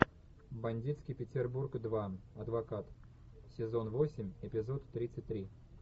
бандитский петербург два адвокат сезон восемь эпизод тридцать три